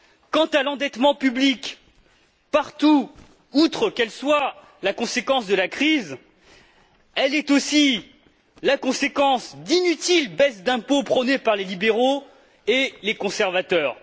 Quant à l'endettement public, partout, outre qu'il soit la conséquence de la crise, il est aussi la conséquence d'inutiles baisses d'impôt prônées par les libéraux et les conservateurs.